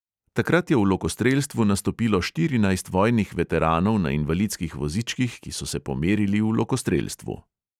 Takrat je v lokostrelstvu nastopilo štirinajst vojnih veteranov na invalidskih vozičkih, ki so se pomerili v lokostrelstvu.